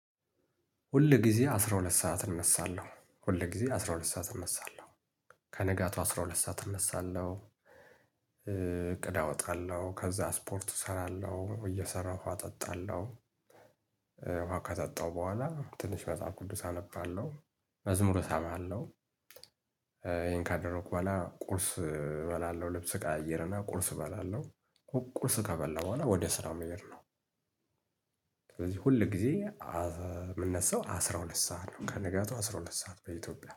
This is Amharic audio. ሁል ጊዜ አስራ ሁለት ሰዓት እነሳለሁ ሁል ጊዜ አስራ ሁለት ሰዓት እነሳለሁ ከነጋቱ አስራ ሁለት ሰዓት እነሳለሁ። እቅድ አወጣለሁ ከዛ ስፖርት እሰራለሁ እየሰራሁ። ውሃ አጠጣለሁ። ውሃ ካጠጣሁ በኋላ ትንሽ መጽሐፍ ቅዱስ አነባለሁ። መዝሙሩ እሰማለው። ይሄን ካደረኩ በኋላ ቁርስ እበላለሁ ልብስ እቀያይርና ቁርስ እበላለሁ። ቁርስ ከበላው በኋላ ወደ ስራው መሄድ ነው። ስለዚህ ሁል ጊዜ የምነሳው አስራ ሁለት ሰዓት ነው ከንጋቱ አስራ ሁለት ሰዓት በኢትዮጵያ